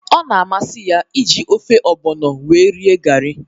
Ọ na-amasị ya- iji ofe ọgbono wee rie gari